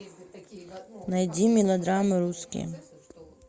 найди мелодрамы русские